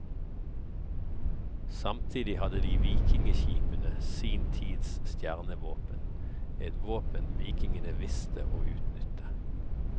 Samtidig hadde de vikingskipene, sin tids stjernevåpen, et våpen vikingene visste å utnytte.